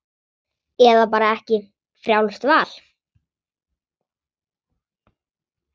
Eða bara ekki, frjálst val.